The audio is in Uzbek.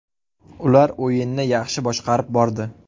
Ular o‘yinni yaxshi boshqarib bordi.